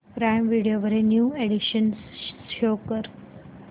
prime Video वरील new additions show कर